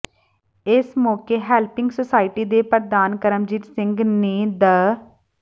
ਇਸ ਮੌਕੇ helping society ਦੇ ਪ੍ਰਧਾਨ ਕਰਮਜੀਤ ਸਿੰਘ ਨੇ ਦ